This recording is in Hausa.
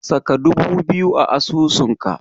Saka dubu biyu a asusunka.